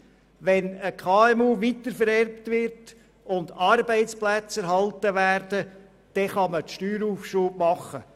Wenn ein KMU weitervererbt wird und Arbeitsplätze erhalten bleiben, kann man einen Steueraufschub vornehmen.